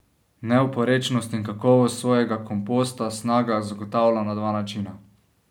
Neoporečnost in kakovost svojega komposta Snaga zagotavlja na dva načina.